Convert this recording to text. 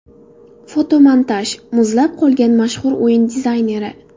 Fotomontaj: Muzlab qolgan mashhur o‘yin dizayneri.